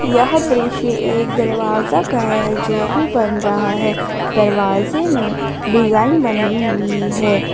यह दृश्य एक दरवाजा का है जो अभी बन रहा है दरवाजे में डिजाइन बनी हुई है ।